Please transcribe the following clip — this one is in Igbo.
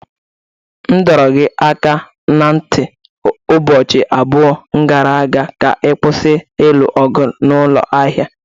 M dọrọ gị aka ná ntị ụbọchị abụọ gara aga ka ị kwụsị ilu ọgụ n'ụlọ ahịa!